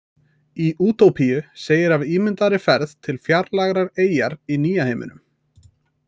Í Útópíu segir af ímyndaðri ferð til fjarlægrar eyjar í Nýja heiminum.